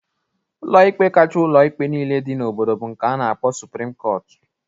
ụlọikpe nke kachaa ụlọikpe nile dị n'obodo bụ nke a na-akpọ suprim kọtụ